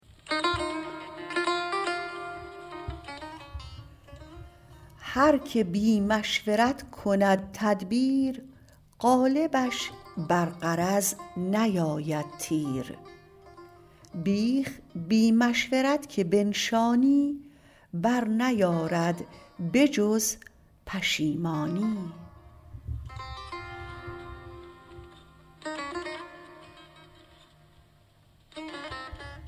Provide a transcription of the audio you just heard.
هر که بی مشورت کند تدبیر غالبش بر غرض نیاید تیر بیخ بی مشورت که بنشانی بر نیارد به جز پشیمانی